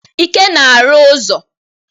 Ike na-arụ ụzọ.